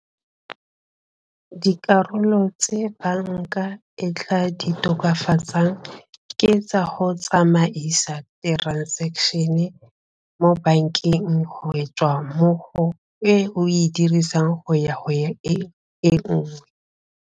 Dikarolo tse banka e tla di tokafatsang ke tsa go tsamaisa transaction-e mo bankeng go e tswa mmogo e o e dirisang go ya go e e nngwe.